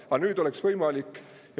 Aga nüüd see oleks võimalik.